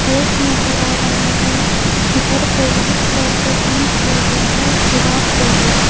Gate नजर आ रहा है घर को व्हाइट कलर से पेंट किया गया है और दीवार को भी।